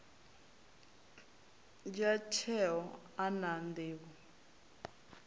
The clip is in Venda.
dzhia tsheo a na nḓivho